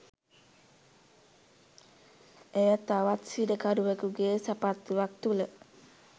එය තවත් සිරකරුවෙකුගේ සපත්තුවක් තුළ